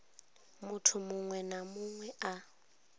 muthu muṅwe na muṅwe a